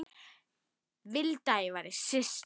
Vildi ég væri systir.